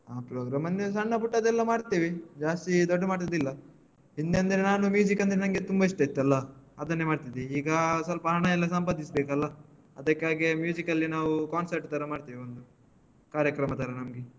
ಹ program ಅಂದ್ರೆ ಸಣ್ಣ ಪುಟ್ಟದೆಲ್ಲ ಮಾಡ್ತೇವೆ ಜಾಸ್ತಿ ದೊಡ್ಡ ಮಟ್ಟದ್ ಇಲ್ಲ ಹಿಂದೆ ಅಂದ್ರೆ ನಾನು ಅಂದ್ರೆ ನಂಗೆ ತುಂಬ ಇಷ್ಟ ಇತ್ತಲ್ಲ ಅದನ್ನೇ ಮಾಡ್ತಿದ್ದೆ ಈಗ ಸ್ವಲ್ಪ ಹಣ ಎಲ್ಲ ಸಂಪಾದಿಸ್ಬೇಕಲ್ಲ ಅದಕ್ಕಾಗಿ ಅಲ್ಲಿ ನಾವು concert ತರ ಮಾಡ್ತೇವೆ ಒಂದು ಕಾರ್ಯಕ್ರಮ ತರ ನಮ್ಗೆ.